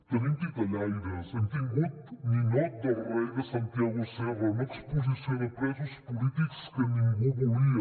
tenim titellaires hem tingut ninot del rei de santiago serra una exposició de presos polítics que ningú volia